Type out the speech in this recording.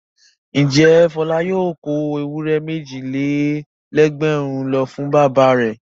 Ǹjẹ́ Fọlá yóò kó ewúrẹ́ méjì-lé-lẹ́gbẹ̀rún lọ fún bàbá rẹ̀?